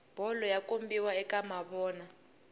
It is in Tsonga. bolo yi kombiwa ka mavona